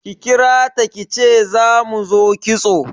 Ki kirata kice za mu zo kitso